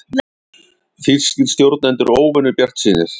Þýskir stjórnendur óvenju bjartsýnir